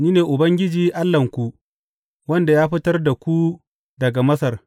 Ni ne Ubangiji Allahnku wanda ya fitar da ku daga Masar.